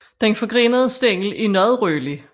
Den forgrenede stængel er noget rødlig